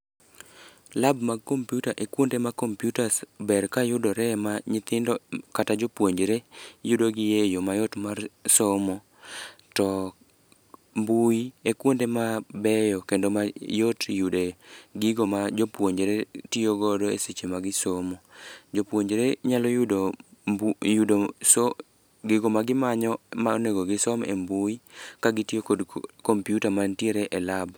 Lab mag computer e kuonde computers ber kayudore ma nyithindo kata jopuonjore, yudo gi e yo mayot mar somo. To mbui e kwonde mabeyo kendo mayot yude gigo ma jopuonjore tiyo godo e seche ma gisomo. Jopuonjore nyalo yudo yudo gigo ma gimanyo ma onego gisom e mbui ka gitiyo kod computer mantiere e lab.